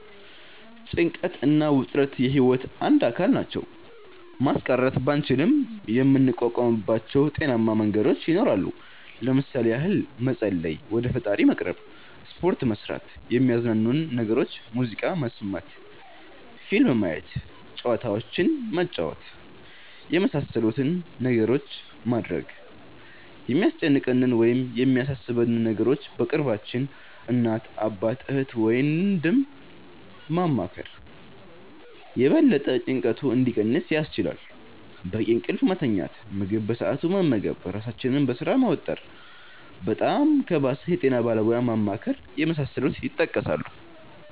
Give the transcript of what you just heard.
ጭንቀት እና ውጥረት የህይወት አንድ አካል ናቸው። ማስቀረት ባንችልም የምንቋቋምባቸው ጤናማ መንገዶች ይኖራሉ። ለምሣሌ ያህል መፀለይ(ወደ ፈጣሪ መቅረብ)፣ሰፖርት መስራት፣ የሚያዝናኑንን ነገሮች (ሙዚቃ መስመት፣ ፊልም ማየት፣ ጨዋታዎችንን መጫወት)የመሣሠሉትን ነገሮች ማድረግ፣ የሚያስጨንቀንን ወይም የሚያሣሦበንን ነገሮች በቅርባችን (እናት፣ አባት፣ እህት፣ ወንድም )ማማከር የበለጠ ጭንቀቱ እንዲቀንስ ያስችላል፣ በቂ እንቅልፍ መተኛት፣ ምግብ በሠአቱ መመገብ ራሣችንን በሥራ መወጠር፣ በጣም ከባሠ የጤና ባለሙያ ማማከር የመሣሠሉት ይጠቀሳሉ።